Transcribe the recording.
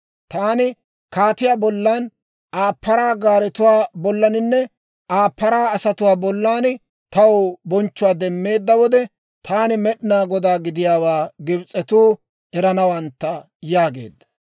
Taani kaatiyaa bollan, Aa paraa gaaretuwaa bollaaninne Aa paraa asatuwaa bollan taw bonchchuwaa demmeedda wode, taani Med'inaa Godaa gidiyaawaa Gibs'etuu eranawantta» yaageedda.